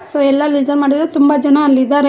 So ಎಲ್ಲ ಲಿಜನ್ ಮಾಡಿದರೆ ತುಂಬ ಜನ ಅಲ್ಲಿದ್ದಾರೆ.